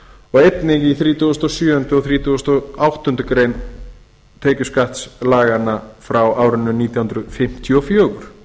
og einnig í þrítugasta og sjöundu greinar og þrítugasta og áttundu greinar tekjuskattslaganna frá árinu nítján hundruð fimmtíu og fjögur